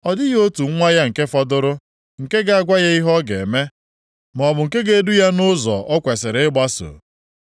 Ọ dịghị otu nwa ya nke fọdụrụ, nke ga-agwa ya ihe ọ ga-eme, maọbụ nke ga-edu ya nʼụzọ o kwesiri ịgbaso.